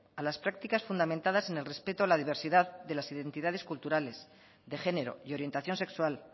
a las prácticas fundamentadas en el respeto a la diversidad de las identidades culturales de género y orientación sexual